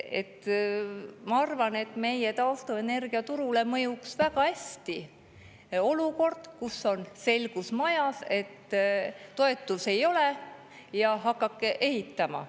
Ma arvan, et meie taastuvenergia turule mõjuks väga hästi olukord, kus on selgus majas: toetusi ei ole ja hakake ehitama.